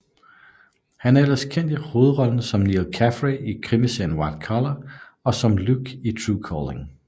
Han er ellers kendt i hovedrollen som Neil Caffrey i krimiserien White Collar og som Luc i Tru Calling